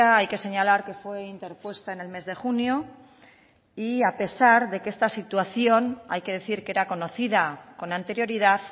hay que señalar que fue interpuesta en el mes de junio y a pesar de que esta situación hay que decir que era conocida con anterioridad